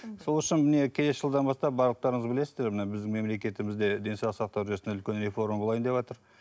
сол үшін міне келесі жылдан бастап барлықтарыңыз білесіздер мына біздің мемлекетімізде денсаулық сақтау жүйесінде үлкен реформа болайын деватыр